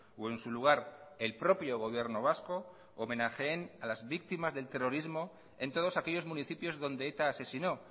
o en su lugar el propio gobierno vasco homenajeen a las víctimas del terrorismo en todos aquellos municipios donde eta asesinó